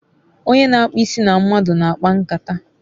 Onye n'akpu isi na mmadu n'akpankata